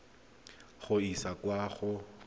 go e isa kwa go